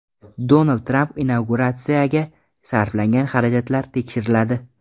Donald Tramp inauguratsiyasiga sarflangan xarajatlar tekshiriladi.